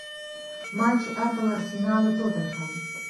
матч апл арсенал и тоттенхэм